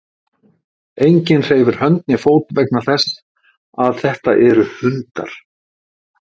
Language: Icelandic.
Enginn hreyfir hönd né fót vegna þess að þetta eru hundar.